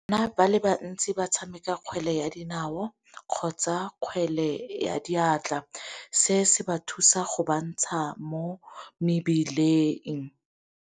Bana ba le bantsi ba tshameka kgwele ya dinao kgotsa kgwele ya diatla, se se ba thusa go ba ntsha mo mebileng.